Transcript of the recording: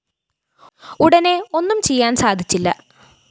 ഉടനെ ഒന്നും ചെയ്യാന്‍ സാധിച്ചില്ല